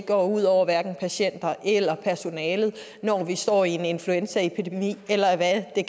går ud over patienter eller personalet når vi står i en influenzaepidemi eller hvad det